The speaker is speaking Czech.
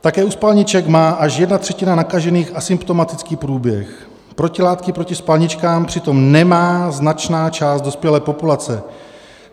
Také u spalniček má až jedna třetina nakažených asymptomatický průběh, protilátky proti spalničkám přitom nemá značná část dospělé populace.